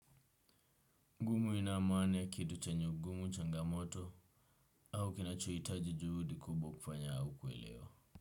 Mu inamaani ya kitu chenye ugumu changamoto au kinachohitaji juhudi kubwa kufanya au kuelewa.